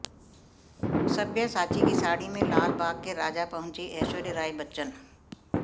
सब्यासाची की साड़ी में लाल बाग के राजा पहुंचीं ऐश्वर्या राय बच्चन